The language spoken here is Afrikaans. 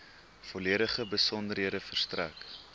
volledige besonderhede verstrek